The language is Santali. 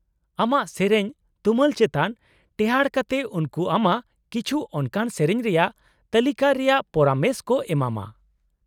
-ᱟᱢᱟᱜ ᱥᱮᱹᱨᱮᱹᱧ ᱛᱩᱢᱟᱹᱞ ᱪᱮᱛᱟᱱ ᱴᱮᱦᱟᱸᱴ ᱠᱟᱛᱮᱫ ᱩᱱᱠᱩ ᱟᱢᱟᱜ ᱠᱤᱪᱷᱩ ᱚᱱᱠᱟᱱ ᱥᱮᱹᱨᱮᱹᱧ ᱨᱮᱭᱟᱜ ᱛᱟᱹᱞᱤᱠᱟ ᱨᱮᱭᱟᱜ ᱯᱚᱨᱟᱢᱮᱥ ᱠᱚ ᱮᱢᱟᱢᱟ ᱾